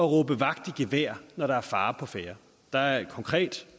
råbe vagt i gevær når der er fare på færde der er et konkret